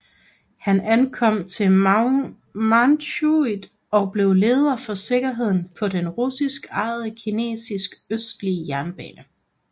Han ankom til Manchuriet og blev leder for sikkerheden på den russisk ejede Kinesisk Østlige Jernbane